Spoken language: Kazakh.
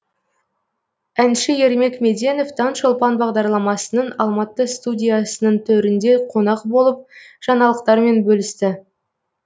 әнші ермек меденов таңшолпан бағдарламасының алматы студиясының төрінде қонақ болып жаңалықтарымен бөлісті